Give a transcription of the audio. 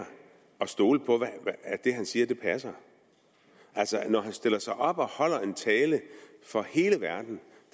stole på at det han siger passer altså når han stiller sig op og holder en tale for hele verden